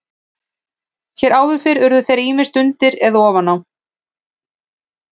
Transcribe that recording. Hér áður fyrr urðu þeir ýmist undir eða ofan á.